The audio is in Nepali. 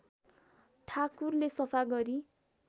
ठाकुरले सफा गरी